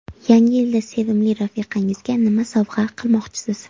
Yangi yilda sevimli rafiqangizga nima sovg‘a qilmoqchisiz?.